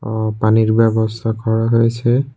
অ পানির ব্যবস্থা করা হয়েছে।